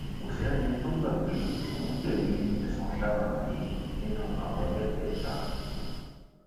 kò sẹni tó gbà pé òun jẹbi ẹsùn ọdaràn wọnyí nínú àwọn mẹtẹẹta